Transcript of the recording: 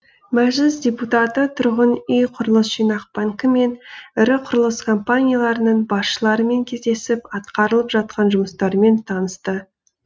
мәжіліс депутаты тұрғын үй құрылыс жинақ банкі мен ірі құрылыс компанияларының басшыларымен кездесіп атқарылып жатқан жұмыстармен танысты